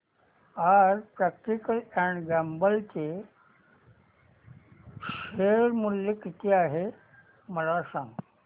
आज Procter and Gamble चे share मूल्य किती आहे मला सांगा